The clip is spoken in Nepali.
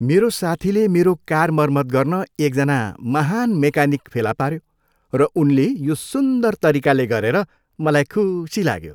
मेरो साथीले मेरो कार मरमत गर्न एकजना महान् मेकानिक फेला पाऱ्यो र उनले यो सुन्दर तरिकाले गरेर मलाई खुशी लाग्यो।